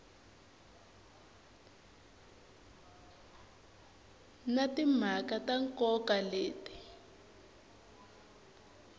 na timhaka ta nkoka leti